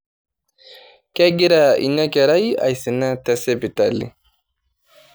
Kegira ina kerai aisina te sipitali.